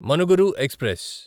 Manuguru express